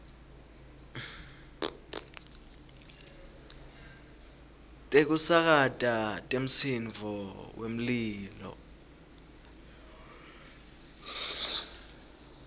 tekusakata temsindvo wemlilo